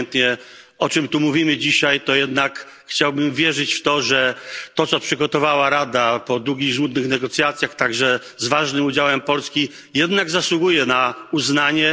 Obojętnie, o czym tu mówimy dzisiaj, to jednak chciałbym wierzyć w to, że to, co przygotowała Rada po długich i żmudnych negocjacjach, także z ważnym udziałem Polski, jednak zasługuje na uznanie.